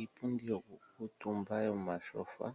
Iipundi yokukuutumba yomatyofa